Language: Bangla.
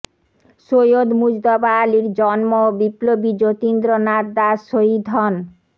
সৈয়দ মুজতবা আলীর জন্ম ও বিপ্লবী যতীন্দ্র নাথ দাস শহীদ হন